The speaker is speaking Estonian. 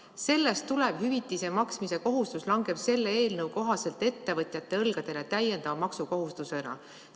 Sellest tulev hüvitise maksmise kohustus langeb selle eelnõu kohaselt ettevõtjate õlgadele täiendava maksukohustusena.